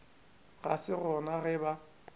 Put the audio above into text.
ga se gona ge ba